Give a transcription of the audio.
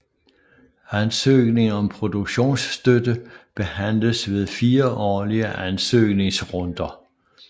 Ansøgning om produktionsstøtte behandles ved 4 årlige ansøgningsrunder